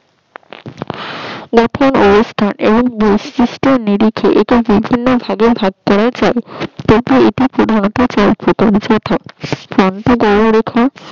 কঠিন অবস্থা বৈশিষ্ট্য নিরিখে একে বিভিন্ন ভাগে ভাগ করা যায় তবুও এটি পরিণত